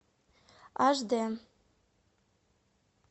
аш дэ